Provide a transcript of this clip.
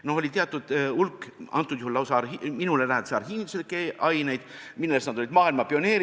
Nimelt, oli teatud hulk antud juhul minule lähedasi arhiivinduse aineid, milles nad olid maailmas pioneerid.